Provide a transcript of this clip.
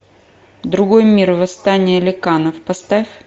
другой мир восстание ликанов поставь